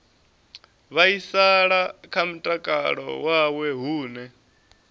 vhaisala kha mutakalo wawe hune